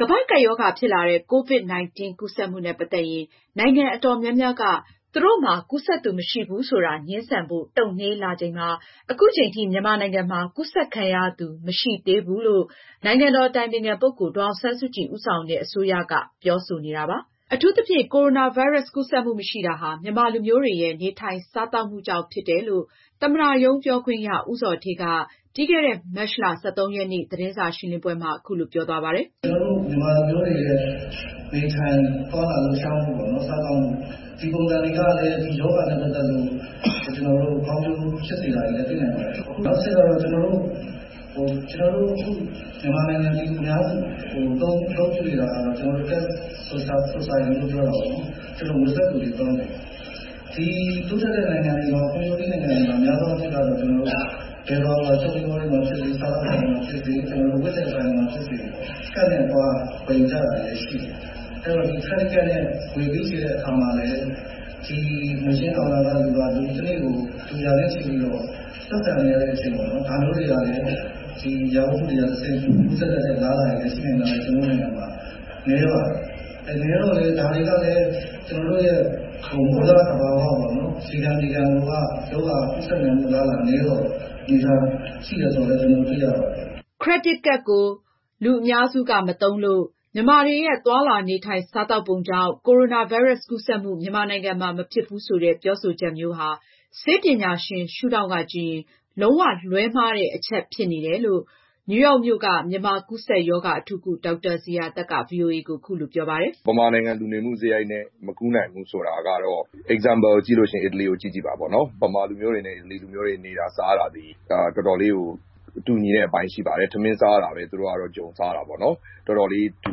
ကမ္ဘာ့ကပ်ရောဂါဖြစ်လာတဲ့ COVID-19 ကူးစက်မှုနဲ့ ပတ်သက်ရင် နိုင်ငံအတော်များများက သူတို့မှာ ကူူးစက်သူမရှိဘူးဆိုတာ ငြင်းဆန်ဖို့ တုန့်နှေးလာချိန်မှာ အခုချိန်ထိ မြန်မာနိုင်ငံမှာ ကူးစက်ခံရသူမရှိသေးဘူးလို့ နိုင်ငံတော်အတိုင်ပင်ခံပုဂ္ဂိုလ် ဒေါ်အောင်ဆန်းစုကြည် ဦးဆောင်တဲ့ အစိုးရက ပြောဆိုနေတာပါ။ အထူးသဖြင့် ကိုရိုနာဗိုင်းရပ်စ်ကူးစက်မှု မရှိတာဟာ မြန်မာလူမျိုးတွေရဲ့ နေထိုင်၊စားသောက်မှုကြောင့်ဖြစ်တယ်၊ သမ္မတရုံးပြောခွင့်ရ ဦးဇော်ဌေးက ပြီးခဲ့တဲ့ မတ်လ (၁၃)ရက်နေ့က သတင်းစာရှင်းလင်းပွဲမှာ အခုလိုပြောသွားပါတယ်။ “ ကျနော်တို့ မြန်မာလူမျိုးတွေရဲ့ နေထိုင်သွားလာ လှုပ်ရှားမှု ၊ စားသောက်မှု ဒီပုံစံတွေကလည်း ဒီရောဂါနဲ့ ပတ်သက်လို့ ကောင်းကျိုးဖြစ်စေတာလည်း တွေ့ရတယ် ။ နောက်တချက်ကတော့ ကျနေ်ာတို့အခု မြန်မာနိုင်ငံ ပြည်သူအများစု အများစု အသုံးပြုနေတာကတော့ cash society ပေါ့နော် ကျနော်တို့ ငွေစက္ကူတွေသုံးတယ်။ ဒီတိုးတက် ဖွံ့ဖြိုးပြီးနိုင်ငံတွေမှာတော့ များသောအားဖြင့်တော့ ဘယ်သွားသွား Shopping mall တွေမှာ၊ စားသောက်ဆိုင်တွေမှာ ဖြစ်စေ ၊ အဝတ်အထည်ဆိုင်တွေမှာ ဖြစ်စေ ကတ်နဲ့ ဝယ်နေတာတွေရှိတယ်။ အဲဒီတော့ credit card နဲ့ ငွေပေးချေတဲ့အခါမှာလည်း ငွေရှင်းကောင်တာက တနေ့ကို လူ ရာနဲ့ ချီပြီးတော့ ဆက်ဆံနေရတဲ့အခြေအနေမှာ ဒါမျိုးတွေကနေတဆင့် အရာဝတ္ထုတွေကနေ ကူးစက်တဲ့ အလားအလာတွေကလည်း ကျနော်တို့ နိုင်ငံမှာ နည်းပါတယ်။ဒါတွေကလည်း ကျနော်တို့ရဲ့ မူလသဘာဝပေါ့နော် ရေခံမြေခံကလည်း ရောဂါကူးစက်နိုင်မှုအလားအလာနည်းတာကို ကျနော်တို့တွေ့ရပါတယ်။” ခရစ်ဒစ်ကဒ်ကို လူအများစုက မသုံးလို့၊ မြန်မာတွေရဲ့ သွားလာနေထိုင်၊ စားသောက်ပုံကြောင့် ကိုရိုနာဗိုင်းရပ်စ်ကူးစက်မှု မြန်မာနိုင်ငံမှာ မဖြစ်ဘူးဆိုတဲ့ ပြောဆိုချက်ဟာ ဆေးပညာရှင် ရှုထောင့်ကကြည့်ရင် လုံးဝလွဲှမှားနေကြောင်း နယူးရောက်မြို့က မြန်မာကူးစ က်ရောဂါအထူးကု ဒေါက်တာဇေယျာသက်က ဗွီအိုအေကို အခုလိုပြောပါတယ်။ “ မြန်မာနိုင်ငံ လူနေမှုစရိုက်နဲ့ မကူးနိုင်ဘူးဆိုတာကတော့ ဥပမာ အားဖြင့် အီတလီကို ကြည့်ပါပေါ့နော်။ မြန်မာလူမျိုးတွေနဲ့ အီတလီလူမျိုးတွေနဲ့ နေတာ စားတာတွေက တော်တော်လေး တူညီတဲ့ အပိုင်းရှိပါတယ်။ ထမင်းစားတာတွေပါပဲ သူတို့ကတော့ ဂျုံစားတာပေါ့နော် တော်တော်လေး တူ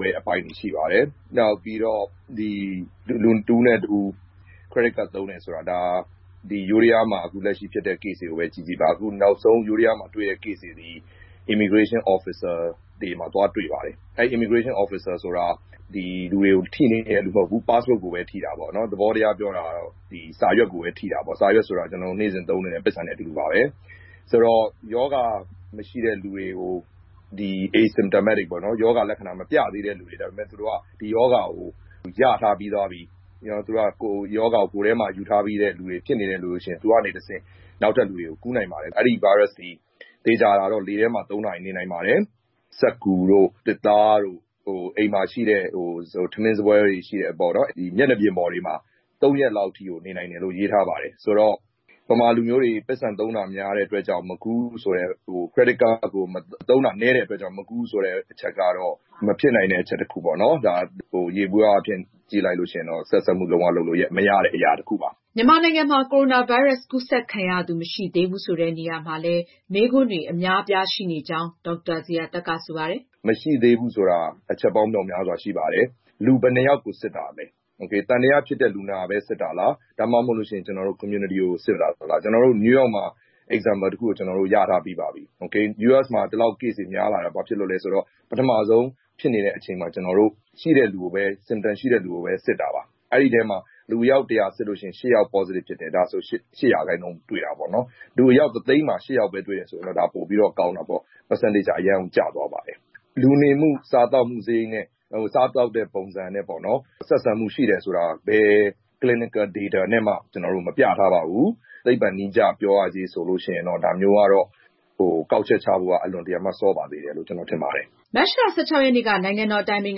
တဲ့အပိုင်းတွေ ရှိပါတယ်။ နောက်ပြီးတော့ လူတဦးနဲ့ တဦး Credit card သုံးတယ်ဆိုတာကတော့ ယိုးဒယားမှာ လက်ရှိ ဖြစ်တဲ့ case တွေကိုပဲ ကြည့်ကြည့်ပါ။ နောက်ဆုံး ယိုးဒယားမှာ တွေ့တဲ့ case တွေသည် immigration officer တွေမှာ သွားတွေ့ပါတယ်။ immigration officer တွေဆိုတာက လူတွေကို သွားထိနေတာမဟုတ်ဘူး passport ကိုပဲ ထိတာပေါ့နော် သဘောတရားကတော့ စာရွက်ကိုပဲ ထိတာပေါ့နော်။ စာရွက် ဆိုတာက ကျနော်တို့ နေ့စဉ်သုံးနေတဲ့ ပိုက်ဆံနဲ့ အတူတူပါပဲ။ ဆိုတော့ ရောဂါမရှိတဲ့ လူတွေ ၊ ရောဂါလက္ခဏာမပြသေးတဲ့လူတွေက ဒီရောဂါကို ရထားပြီးသွားပြီ သူတို့က ကိုယ်ထဲမှာ ရောဂါကို ယူထားပြီးတဲ့လူတွေ ဖြစ်နေတဲ့လူတွေက သူတို့ကနေတဆင့် နောက်ထပ်လူတွေကို ကူးနိုင်ပါတယ်။ အဲဒီ ဗိုင်းရပ်စ်သည် သေချာတာကတော့ လေထဲမှာ ၃ နာရီ နေနိုင်ပါတယ်။ စက္ကူတို့ သစ်သားတို့ အိမ်မှာ ရှိတဲ့ ထမင်းစားပွဲ မျက်နှာပြင်တွေအပေါ်မှာ ၃ ရက်လောက်အထိကို နေနိုင်တယ်လို့ ရေးထားပါတယ်။ မြန်မာလူမျိုးတွေ ပိုက်ဆံသုံးတာ များတဲ့အတွက်ကြောင့် Credit card သုံးတာနည်းတဲ့အတွက်ကြောင့် မကူးဘူးဆိုတဲ့အချက်ကတော့ မဖြစ်နိုင်ဘူးပေါ့နော် ယေဘုယျ အားဖြင့် ကြည့်ရင်တော့ ဆက်စပ်မှု လုံး၀ လုပ်လို့ မရတဲ့ အရာတခုပါ။” မြန်မာနိုင်ငံမှာ ကိုရိုနာဗိုင်းရပ်စ်ကူးစက်ခံရသူမရှိသေးဘူးဆိုတဲ့နေ ရာမှာ မေးခွန်း တွေအများအပြားရှိနေကြောင်း ဒေါက်တာဇေယျာသက်က ဆိုပါတယ်။ “မရှိသေးဘူးဆိုတာ မေးခွန်းပေါင်းများစွာရှိပါတယ်။ လူဘယ်နှစ်ယောက်ကို စစ်တာလဲ၊ သံသယဖြစ်တဲ့ လူနာပဲ စစ်တာလား ၊ ဒါမှ မဟုတ်ရင်လည်း ကျနော်တို့ community ကိုပဲ စစ်တာလား။ ကျနော်တို့ New York မှာ example တခု ရထားပြီးပါပြီ။ US မှာ ဒီလောက် case တွေများလာတာလဲဆိုတော့ ပထမဦးဆုံး ဖြစ်နေတဲ့အချိန်မှာ ရှိတဲ့လူကိုပဲ symptomsရှိတဲ့ လူကိုပဲ စစ်တာပါ။ အဲဒီထဲမှာ လူအယောက် ၁၀၀ စစ်ရင် ၈ ယောက် positive ဖြစ်တယ် ဒါဆိုရင် ၈ % တွေ့တာပေါ့နော်။ လူအယောက် ၁ သိန်းမှာ ၈ ယောက် ပဲတွေ့တယ်ဆိုရင် ဒါပိုပြီးတော့ ကောင်းတာပေါ့။ ရာခိုင်နှုန်း အရမ်းကျသွားပါတယ်။ လူနေမှု ၊ စားသောက်မှုနဲ့ စရိုက်နဲ့ စားသောက်တဲ့ပုံစံနဲ့ပေါ့နော် ဆက်ဆံမှုရှိတယ်ဆိုတာက ဘယ် ဆေးပညာ clinical data နဲ့မှ မပြထားပါဘူး။ သိပ္ပံနည်းကျ ပြောရရင်တော့ ဒါမျိုးကတော့ ကောက်ချက်ချဖို့ အလွန်စောပါသေးတယ်လို့ ကျနော်ထင်ပါတယ်။” မတ်လ (၁၆)ရက်နေ့က နိုင်ငံတော်အတိုင်ပင်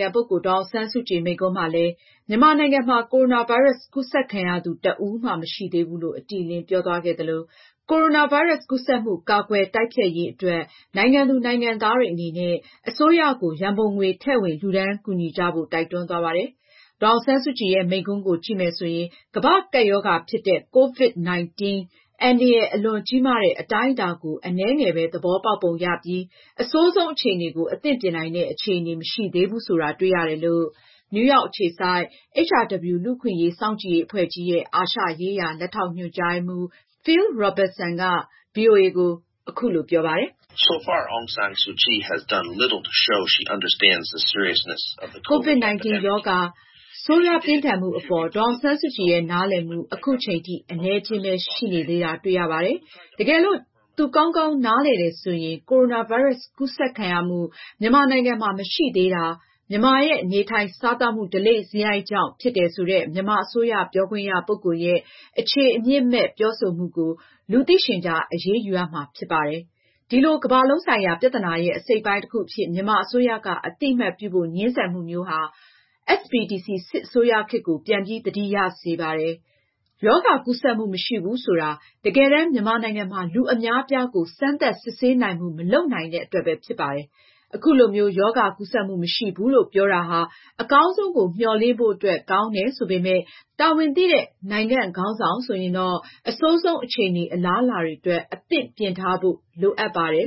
ခံပုဂ္ဂိုလ် ဒေါ်အောင်ဆန်းစုကြည် မိန့်ခွန်းမှာလည်း မြန်မာနိုင်ငံမှာ ကိုရိုနာဗိုင်းရပ်စ်ကူးစက်ခံရသူတဦးမှ မရှိသေးဘူးလို့ အတိအလင်းပြောသွားခဲ့သလို၊ ကိုရိုနာဗိုင်းရပ်စ်ကူးစက်မှု ကာကွယ်တိုက်ဖျက်ရေးအတွက် နိုင်ငံသူနိုင်ငံသားတွေအနေနဲ့ အစိုးရကို ရန်ပုံငွေထည့်ဝင်လှူဒါန်းကူညီကြဖို့ တိုက်တွန်းသွားပါတယ်။ ဒေါ်အောင်ဆန်းစုကြည်ရဲ့ မိန့်ခွန်းကိုကြည့်မယ်ဆိုရင် ကမ္ဘာ့ကပ်ရောဂါ ဖြစ်တဲ့ COVID-19 အန္တရာယ် အလွန်ကြီးမားတဲ့အတိုင်းအတာကို အနည်းငယ်ပဲ သဘောပေါက်ပုံရပြီး အဆိုးဆုံးအခြေအနေကို အသင့်ပြင်နိုင်တဲ့ အခြေအနေမရှိသေးဘူးဆိုတာ တွေ့ရတယ်လို့ နယူးရောက်အခြေစိုက် HRW လူ့အခွင့်အရေးစောင့်ကြည့်ရေးအဖွဲ့ကြီးရဲ့ အာရှရေးရာ လက်ထောက်ညွန်ကြားရေးမှူး Phil Robertson ကဗွီအိုအေကို ပြောပါတယ်။ “COVID-19 ရောဂါဆိုးရွားပြင်းထန်မှုအပေါ် ဒေါ်အောင်ဆန်းစုကြည်ရဲ့ နားလည်မှု အခုချိန်ထိ အနည်းအကျဉ်းပဲ ရှိနေသေးတာ တွေ့ရပါတယ်။ တကယ်လို့ သူကောင်းကောင်းနားလည်တယ်ဆိုရင် ကိုရိုနာဗိုင်းရပ်စ် ကူးစက်ခံရမှု မြန်မာနိုင်ငံမှာ မရှိသေးတာ မြန်မာရဲ့နေထိုင်၊ စားသောက်မှု ဓလေ့စရိုက်ကြောင့် ဖြစ်တယ်ဆိုတဲ့ မြန်မာအစိုးရ ပြောခွင့်ရပုဂ္ဂိုလ် ရဲ့အခြေအမြစ်မဲ့ပြောဆိုမှုကို လူသိရှင်ကြား အရေးယူရမှာဖြစ်ပါတယ်။ ဒီလို ကမ္ဘာလုံးဆိုင်ရာ ပြဿနာရဲ့ အစိတ်အပိုင်းတခုအဖြစ် မြန်မာအစိုးရက အသိအမှတ်ပြုဖို့ ငြင်းဆန်မှုမျိုး ကြားရတာဟာ SPDC စစ်အစိုးရခေတ်ကို ပြန်ပြီး သတိရစေပါတယ်။ ရောဂါကူးစက်မှုမရှိဘူးဆိုတာ တကယ်တမ်း မြန်မာနိုင်ငံမှာ လူအများအပြားကို စမ်းသပ် စစ်ဆေးနိုင်မှု မလုပ်နိုင်တဲ့အတွက်ပဲဖြစ်ပါတယ်။ အခုလိုမျိုး ရောဂါကူးစက်မှုမရှိဘူးလို့ ပြောတာဟာ အကောင်းဆုံးကို မျှော်လင့်ဖို့အတွက် ကောင်းတယ်ဆိုပေမဲ့ တာဝန်သိတဲ့ နိုင်ငံခေါင်းဆောင်ဆိုရင်တော့ အဆိုဆုံးအခြေအနေအလားအလာအတွက် အသင့်ပြင်ထားဖို့ လိုအပ်ပါတယ်